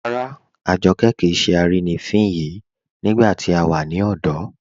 Ràrà, Àjọ́kẹ kíì ṣè àrínifín yìí nígbà tí a wà ní ọ̀dọ̀